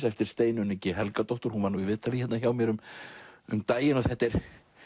eftir Steinunni g Helgadóttur og hún var í viðtali hjá mér um um daginn þetta er